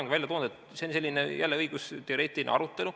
Nii nagu ma olen ka varem välja toonud, see on jälle selline õigusteoreetiline arutelu.